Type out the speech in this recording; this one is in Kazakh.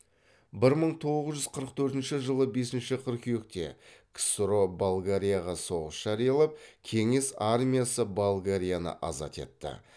бір мың тоғыз жүз қырық төртінші жылы бесінші қыркүйекте ксро болгарияға соғыс жариялап кеңес армиясы болгарияны азат етті